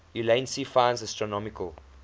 ulansey finds astronomical